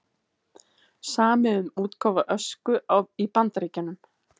Samið um útgáfu Ösku í Bandaríkjunum